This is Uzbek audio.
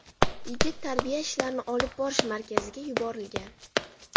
Yigit tarbiya ishlarini olib borish markaziga yuborilgan.